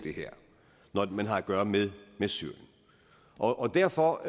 når man har at gøre med med syrien og derfor